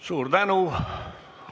Suur tänu!